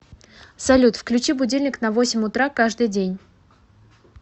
салют включи будильник на восемь утра каждый день